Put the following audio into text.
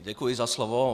Děkuji za slovo.